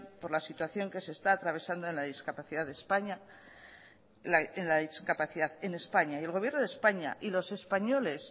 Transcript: por la situación que se está atravesando la discapacidad en españa y el gobierno de españa y los españoles